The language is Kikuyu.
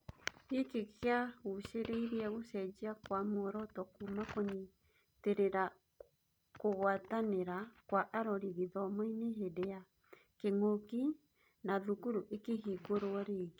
Gĩkĩ gĩacũngĩrĩirie gũcenjia kwa mworoto kuuma kũnyitĩrĩra kũgwatanĩra kwa arori gĩthomo-inĩ hĩndĩ ya kĩng'ũki na thukuru ikĩhingũrwo rĩngĩ.